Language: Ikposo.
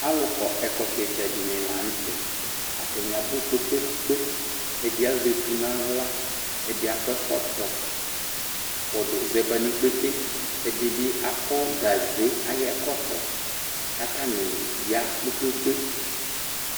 Alʋkɔ ɛkɔtɔ ɩtsɛdɩnɩ la nʋ tɛ. Atanɩ abʋ kpe-kpe-kpe. Ɛdɩ azɛ etu nʋ aɣla, ɛdɩ akɔ ɛkɔtɔ kɔdʋ zɛ ba nʋ ikpete. Ɛdɩ bɩ akɔ gaze ayʋ ɛkɔtɔ kʋ atanɩ ya kpe-kpe-kpe.